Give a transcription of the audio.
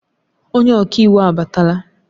Onye ọka iwu abatala